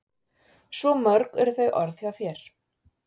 Svo mörg eru þau orð hjá þér.